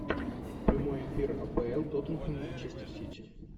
прямой эфир апл тоттенхэм манчестер сити